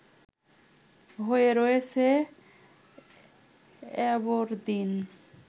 হয়ে রয়েছে অ্যাবরদিন